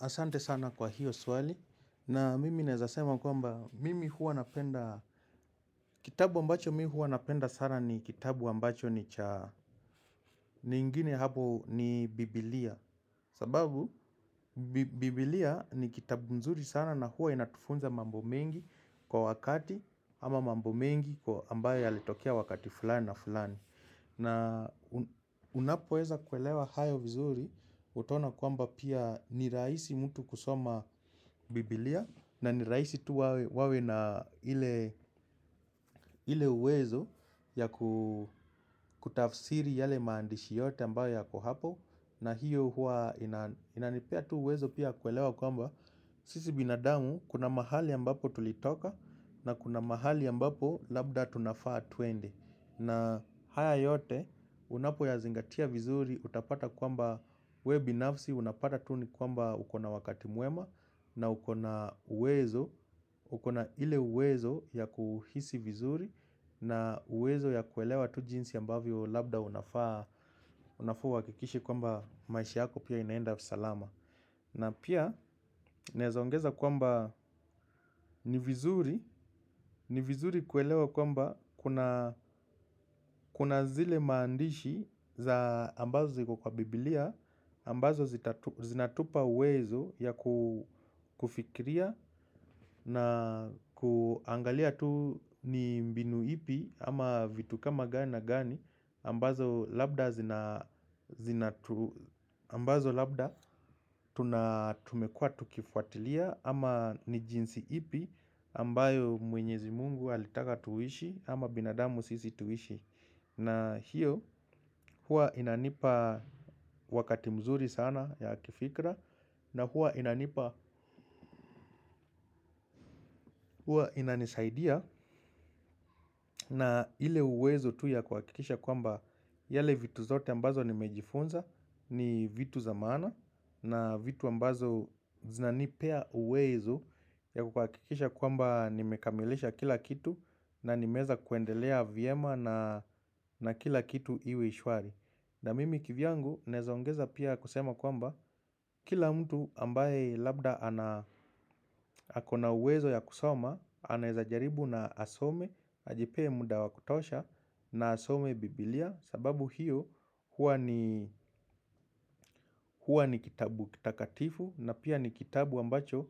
Asante sana kwa hiyo swali na mimi naezasema kwamba mimi hua napenda kitabu ambacho mimi hua napenda sana ni kitabu ambacho ni cha ni ingine hapo ni biblia. Sababu biblia ni kitabu mzuri sana na hua inatufunza mambo mengi kwa wakati ama mambo mengi ambayo yalitokea wakati fulani na fulani. Na unapoeza kuelewa hayo vizuri utaona kwamba pia ni raisi mtu kusoma bibilia na niraisi tu wawe na ile uwezo ya kutafsiri yale maandishi yote ambayo yako hapo. Na hiyo huwa inanipea tu uwezo pia kuelewa kwamba sisi binadamu kuna mahali ambapo tulitoka na kuna mahali ambapo labda tunafaa tuende. Na haya yote unapo yazingatia vizuri utapata kwamba wewe binafsi unapata tu kwamba ukona wakati mwema na ukona uwezo, ukona ile uwezo ya kuhisi vizuri na uwezo ya kuelewa tu jinsi ambavyo labda unafaa uhakikishe kwamba maisha yako pia inaenda salama. Na pia naeza ongeza kwamba ni vizuri, ni vizuri kuelewa kwamba kuna zile maandishi za ambazo ziko kwa bibilia, ambazo zinatupa uwezo ya kufikiria na kuangalia tu ni mbinu ipi ama vitu kama gani na gani ambazo ambazo labda tumekua tukifuatilia ama ni jinsi ipi ambayo mwenyezi mungu alitaka tuishi ama binadamu sisi tuishi na hiyo hua inanipa wakati mzuri sana ya kifikra na hua inanipa hua inanisaidia na ile uwezo tu kuhakikisha kwamba yale vitu zote ambazo nimejifunza ni vitu za maana na vitu ambazo zinanipea uwezo ya kukakikisha kwamba nimekamilisha kila kitu na nimeweza kuendelea vyema na na kila kitu iwe shwari. Na mimi kivyangu naeza ongeza pia kusema kwamba kila mtu ambaye labda akona uwezo ya kusoma. Anaezajaribu na asome, ajipee muda wa kutosha na asome bibilia. Sababu hiyo huwa ni ni kitabu kitakatifu na pia ni kitabu ambacho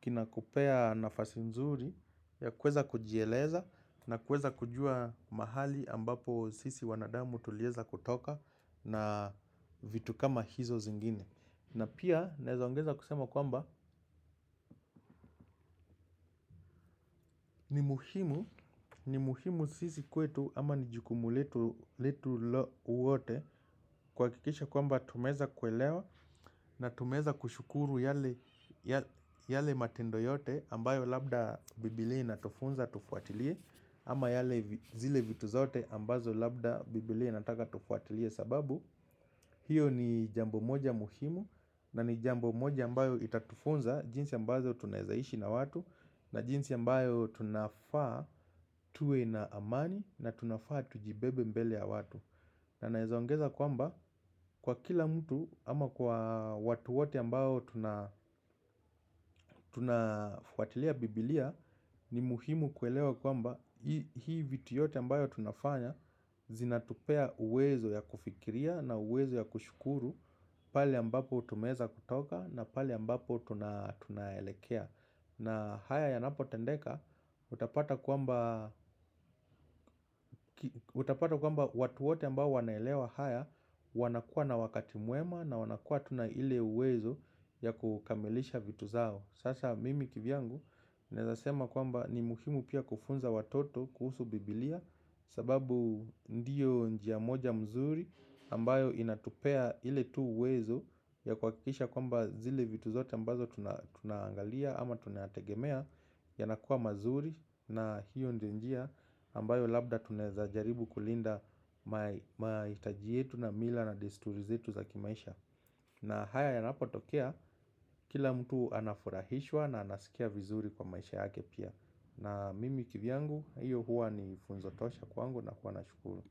kina kupea nafasi mzuri ya kuweza kujieleza na kuweza kujua mahali ambapo sisi wanadamu tuliweza kutoka na vitu kama hizo zingine. Na pia naeza ongeza kusema kwamba ni muhimu sisi kwetu ama ni jukumu letu wote kuhakikisha kwamba tumeweza kuelewa. Na tumeweza kushukuru yale matendo yote ambayo labda bibilia inatufunza tufuatilie. Ama zile vitu zote ambazo labda bibilia inataka tufuatilie sababu hiyo ni jambo moja muhimu na ni jambo moja ambayo itatufunza jinsi ambazo tunaezaishi na watu. Na jinsi ambayo tunafaa tuwe na amani na tunafaa tujibebe mbele ya watu. Na naeza ongeza kwamba kwa kila mtu ama kwa watu wote ambao tunafuatilia bibilia ni muhimu kuelewa kwamba hii vitu yote ambayo tunafanya zinatupea uwezo ya kufikiria na uwezo ya kushukuru pahali ambapo tumeweza kutoka na pahali ambapo tunaelekea. Na haya ya yanapotendeka utapata kwamba utapata kwamba watu wote ambao wanaelewa haya wanakua na wakati mwema na wanakua na ile uwezo ya kukamilisha vitu zao. Sasa mimi kivyangu naezasema kwamba ni muhimu pia kufunza watoto kuhusu bibilia sababu ndiyo njia moja mzuri ambayo inatupea ile tu uwezo ya kuhakikisha kwamba zile vitu zote ambazo tunaangalia ama tunategemea yanakuwa mazuri na hiyo ndio njia ambayo labda tuneza jaribu kulinda mahitaji yetu na mila na desturi zetu za kimaisha na haya yanapotokea kila mtu anafurahishwa na anasikia vizuri kwa maisha yake pia na mimi kivyangu hiyo huwa ni funzo tosha kwangu na kuwa na shukuru.